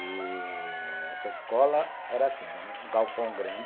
E... Essa escola era assim, era um galpão grande.